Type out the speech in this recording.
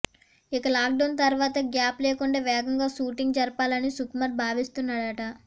ఇక లాక్డౌన్ తర్వాత గ్యాప్ లేకండా వేగంగా షూటింగ్ జరిపాలని సుకుమార్ భావిస్తున్నాడట